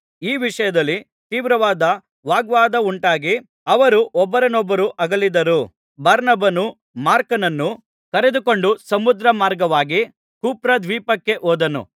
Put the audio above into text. ಈ ವಿಷಯದಲ್ಲಿ ತೀವ್ರವಾದ ವಾಗ್ವಾದವುಂಟಾಗಿ ಅವರು ಒಬ್ಬರನ್ನೊಬ್ಬರು ಅಗಲಿದರು ಬಾರ್ನಬನು ಮಾರ್ಕನನ್ನು ಕರೆದುಕೊಂಡು ಸಮುದ್ರ ಮಾರ್ಗವಾಗಿ ಕುಪ್ರದ್ವೀಪಕ್ಕೆ ಹೋದನು